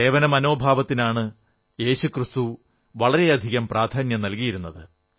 സേവനമനോഭാവത്തിനാണ് യേശുക്രിസ്തു വളരെയധികം പ്രാധാന്യം നല്കിയിരുന്നത്